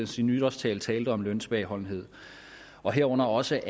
sin nytårstale talte om løntilbageholdenhed og herunder også